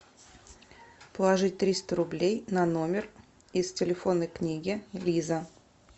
положить триста рублей на номер из телефонной книги лиза